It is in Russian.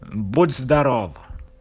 будь здоров